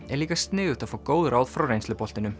er líka sniðugt að fá góð ráð frá